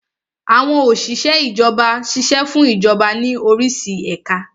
Àwọn Òsìsẹ́ Ìjọba ṣiṣẹ́ fún Ìjọba ní orísi ẹ̀ka